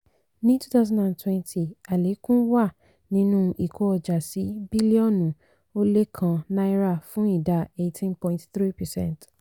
ní twenty twenty àlékún wà nínú ìkó ọjà sí bílíọ̀nu ó lé kan náírà fún ìdá eighteen point three percent.